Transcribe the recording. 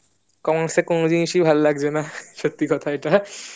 কোনো জিনিসই ভালো লাগছে না সত্যি কথা এইটা